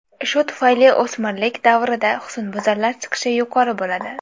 Shu tufayli o‘smirlik davrida husnbuzarlar chiqishi yuqori bo‘ladi.